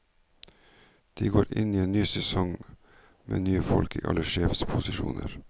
De går inn i en ny sesong med nye folk i alle sjefsposisjoner.